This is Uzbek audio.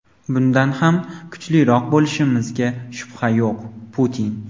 bundan ham kuchliroq bo‘lishimizga shubha yo‘q – Putin.